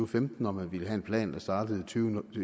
femten og man ville have en plan der startede